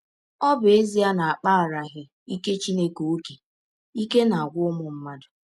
Ọ bụ ezie na a kpaaraghị ike Chineke ọ́kè, ike na - agwụ ụmụ mmadụ.